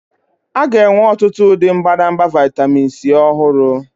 A ga-enwe ọtụtụ ụdị mbadamba vitamin C ọhụrụ.